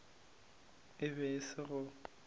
e be e se go